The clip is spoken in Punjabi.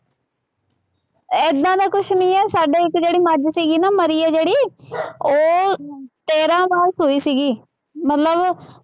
ਏਦਾਂ ਦਾ ਕੁੱਛ ਨਹੀਂ ਹੈ, ਸਾਡੇ ਇੱਕ ਜਿਹੜੀ ਮੱਝ ਸੀਗੀ ਨਾ, ਮਰੀ ਹੈ ਜਿਹੜੀ, ਉਹ ਤੇਰਾਂ ਵਾਰ ਸੂਈ ਸੀਗੀ, ਮਤਲਬ